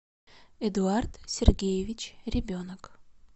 эдуард сергеевич ребенок